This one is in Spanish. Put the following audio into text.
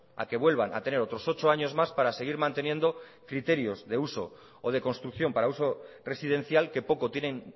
a que vuelvan a tener otros ocho años más para seguir manteniendo criterios de uso o de construcción para uso residencial que poco tienen